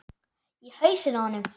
Í hausinn á honum.